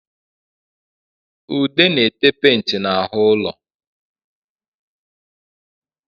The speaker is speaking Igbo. Ude na-ete penti n'ahụ ụlo